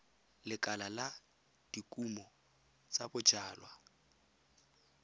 lekala la dikumo tsa bojalwa